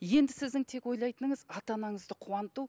енді сіздің тек ойлайтыныңыз ата анаңызды қуанту